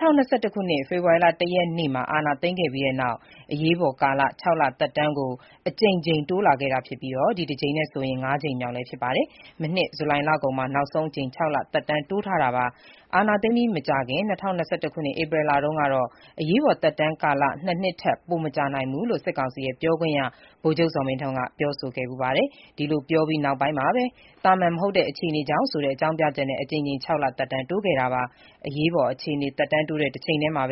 ခုနှစ် ဖေဖော်ဝါရီလ ၁ ရက်နေ့မှာ အာဏာသိမ်းခဲ့ပြီးတဲ့နောက် အရေးပေါ်ကာလ ၆ လ သက်တမ်းကို အကြိမ်ကြိမ် တိုးလာခဲ့တာဖြစ်ပြီး ဒီတကြိမ်ဟာ ၅ ကြိမ်မြောက် ဖြစ်ပါတယ်။ မနှစ် ဇူလိုင်လကုန်မှာ နောက်ဆုံးအကြိမ် ၆ လ သက်တမ်းတိုးထားတာ ဖြစ်ပါတယ်။ အာဏာသိမ်းအပြီး မကြာခင် ၂၀၂၁ ခုနှစ် ဧပြီလတုန်းကတော့ အရေးပေါ် သက်တမ်းကာလ ၂ နှစ် ထက် ပိုမကြာနိုင်ဘူးလို့ စစ်ကောင်စီရဲ့ ပြောခွင့်ရ ဗိုလ်ချုပ်ဇော်မင်းထွန်းက ပြောဆိုခဲ့ဖူးပါတယ်။ ဒီလိုပြောပြီး နောက်ပိုင်းမှာကိုပဲ သာမန် မဟုတ်တဲ့ အခြေအနေကြောင့်ဆိုတဲ့ အကြောင်းပြချက်နဲ့ အကြိမ်ကြိမ် ၆ လ သက်တမ်းတိုးခဲ့တာ ဖြစ်ပါတယ်။ အရေးပေါ်အခြေအနေ သက်တမ်းတိုးတဲ့တချိန်တည်းမှာ